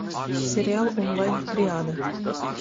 сериал онлайн триада